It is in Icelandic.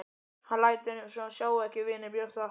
Hann lætur eins og hann sjái ekki vini Bjössa.